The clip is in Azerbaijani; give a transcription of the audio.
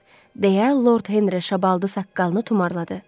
Deyə Lord Henry şabaldı saqqalını tumarladı.